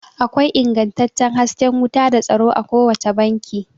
Akwai ingantaccen hasken wuta da tsaro a kowace banki